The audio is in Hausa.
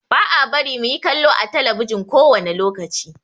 Ba a bari mu yi kallo ã telebijin kowane lokaci.